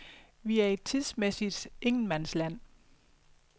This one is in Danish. Vi er i et tidsmæssigt ingenmandsland.